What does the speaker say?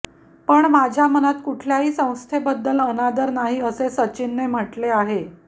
पण माझ्या मनात कुठल्याही संस्थेबद्दल अनादर नाही असे सचिनने म्हटले आहे